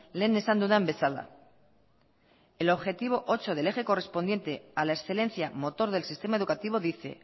lehen esan dudan bezala el objetivo ocho del eje correspondiente a la excelencia motor del sistema educativo dice